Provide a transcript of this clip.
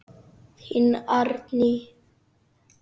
Þín, Árný.